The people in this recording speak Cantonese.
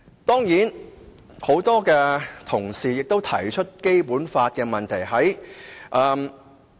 當然，很多同事也提出《基本法》的問題。